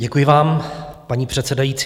Děkuji vám, paní předsedající.